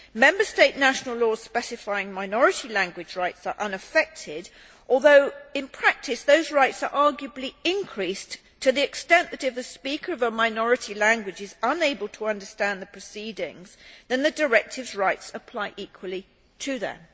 Member State national laws specifying minority language rights are unaffected, although in practice those rights are arguably increased in that if the speaker of a minority language is unable to understand the proceedings then the directive's rights apply equally to them.